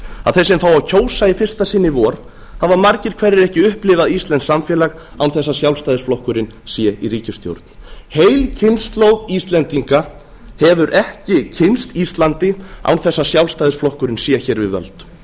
að þeir sem fá að kjósa í fyrsta sinn í vor hafa margir hverjir ekki upplifað íslenskt samfélag án þess að sjálfstæðisflokkurinn sé í ríkisstjórn heil kynslóð íslendinga hefur ekki kynnst íslandi án þess að sjálfstæðisflokkurinn sé hér við völd